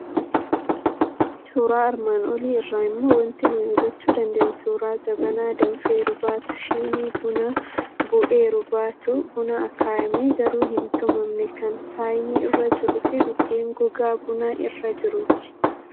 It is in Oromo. Suuraa armaan olii irraa immoo waanti nuyi hubachuu dandeenyu suuraa jabanaa danfeeru baatu, shinii buna bu'eeru baatu, buna akaayamee garuu hin tumamne kan saayinii irra jiruu fi biddeen gogaa buna irra jiruuti.